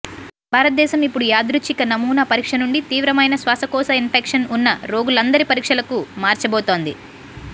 భారతదేశం ఇప్పుడు యాదృచ్ఛిక నమూనా పరీక్ష నుండి తీవ్రమైన శ్వాసకోశ ఇన్ఫెక్షన్ ఉన్న రోగులందరి పరీక్షలకు మార్చబోతోంది